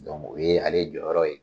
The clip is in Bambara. Dɔnku o ye ale jɔyɔrɔ ye.